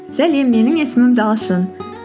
сәлем менің есімім талшын